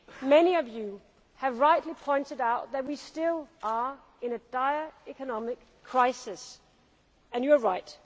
Many of you have rightly pointed out that we still are in a dire economic crisis, and you are right.